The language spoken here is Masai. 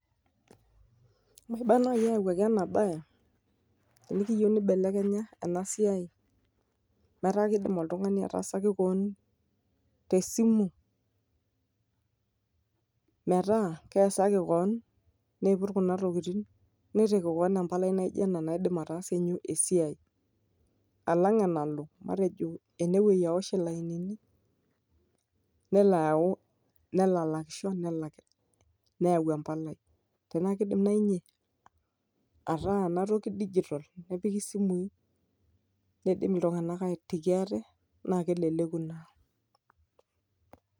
Nimba naaji eyauaki enabae amuu kiyieu neibelekenye ena siai. Metaa keidim oltungani ataasaki keon te simu, metaa keasaki keon neiput kuna tokitin. Neitaki keon empalai naijio ena naidim ataasakinyie keon esiai. Alang enalo enewueji awish ilainini nelo ayau nelo alakisho nelo neyau empalai. Tenaa keidm naaji ninye ataa enatoki digital bepiki isimui, neidim iltunganak aitaki ate naa keleleku ina.